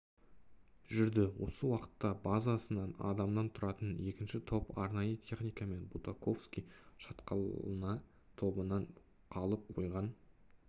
жүрді осы уақытта базасынан адамнан тұратын екінші топ арнайы техникамен бутаковский шатқалына тобынан қалып қойған